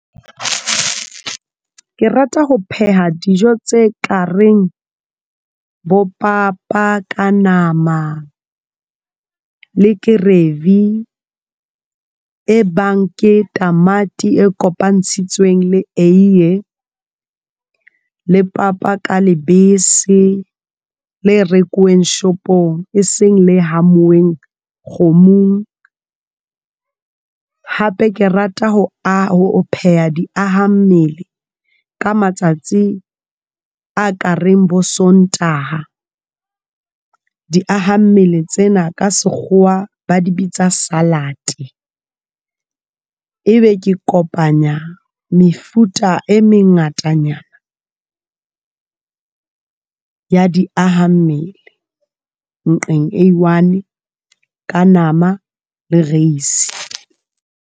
Ke rata ho pheha dijo tse ka reng bo papa ka nama le gravy e bang ke tamati e kopantshitsweng le eiye, le papa ka lebese le rekuweng shopong e seng le homuweng kgomong, hape ke rata ho o pheha di aha mmele ka matsatsi a ka reng bo Sontaha di aha mmele tsena ka sekgowa ba di bitsa salad e be ke kopanya mefuta e mengatanyana ya di aha mmele nqeng e one ka nama le rice.